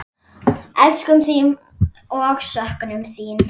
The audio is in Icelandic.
Elskum þig og söknum þín.